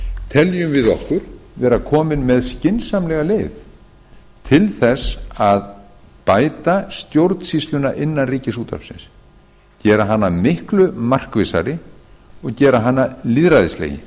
teljum við okkur vera komin með skynsamlega leið til þess að bæta stjórnsýsluna innan ríkisútvarpsins gera hana miklu markvissari og gera hana lýðræðislegri